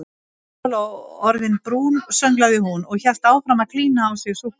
Lóló orðin brún sönglaði hún og hélt áfram að klína á sig súkkulaði.